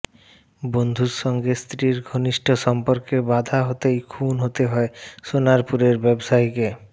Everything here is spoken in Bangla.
বন্ধুর সঙ্গে স্ত্রীর ঘনিষ্ঠ সম্পর্কে বাধা হতেই খুন হতে হয় সোনারপুরের ব্যবসায়ীকে